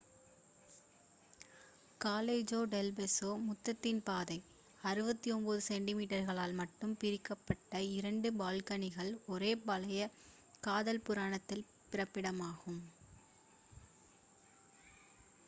காலெஜோன் del Beso முத்தத்தின் பாதை. 69 சென்டிமீட்டர்களால் மட்டுமே பிரிக்கப்பட்ட இரண்டு பால்கனிகள் ஒரு பழைய காதல் புராணத்தின் பிறப்பிடமாகும்